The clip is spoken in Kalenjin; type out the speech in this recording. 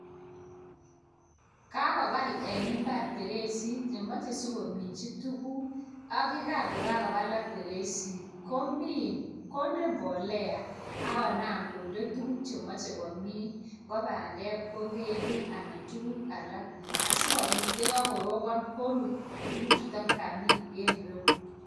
Kakobal en imbar beresit nemoche sikominchi tukuk ak yekan ko kakobalak beresit komin konde mbolea ak konam konde tukuk chemoche komin ngo pandek ngo ngendek anan ko tukuk alak asikopit yekokoropon korut tukuk chuton kamin en irou.